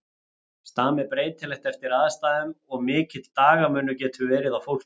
Stam er breytilegt eftir aðstæðum og mikill dagamunur getur verið á fólki.